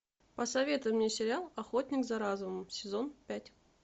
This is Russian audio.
посоветуй мне сериал охотник за разумом сезон пять